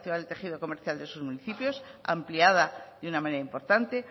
el tejido comercial de sus municipios ampliada de una manera importante